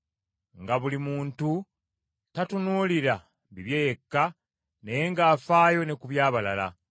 nga buli muntu tatunuulira bibye yekka, naye ng’afaayo ne ku by’abalala.